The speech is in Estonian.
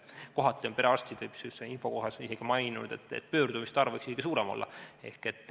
Kohati on perearstid maininud, et pöördumiste arv võiks isegi suurem olla.